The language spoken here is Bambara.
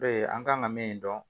an kan ka min dɔn